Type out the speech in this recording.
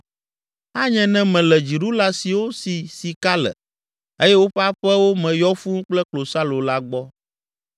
Anye ne mele dziɖula siwo si sika le eye woƒe aƒewo me yɔ fũu kple klosalo la gbɔ.